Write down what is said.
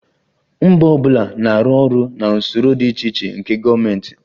Mba ọ bụla na-arụ ọrụ na usoro dị iche iche nke gọọmentị